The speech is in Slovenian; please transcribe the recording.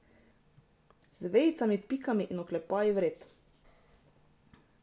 Z vejicami pikami in oklepaji vred.